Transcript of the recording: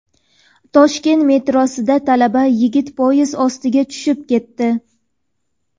Toshkent metrosida talaba yigit poyezd ostiga tushib ketdi.